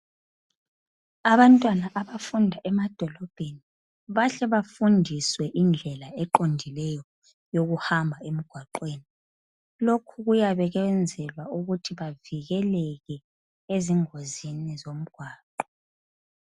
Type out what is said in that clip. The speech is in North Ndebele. abantwana abafunda emadolobheni bahle bafundiswe indlela eqondileyo yokuhamba emgwaqweni lokhu kuyabe kwenzelwa ukuthi bavikeleke ezingozini zomgwaqo